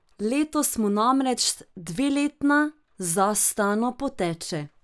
Letos mu namreč dveletna z Astano poteče.